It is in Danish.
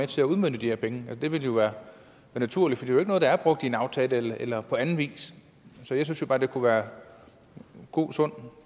til at udmønte de her penge det ville jo være naturligt for det er jo ikke noget der er brugt i en aftale eller på anden vis så jeg synes jo bare at det kunne være god sund